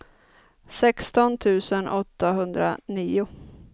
sexton tusen åttahundranio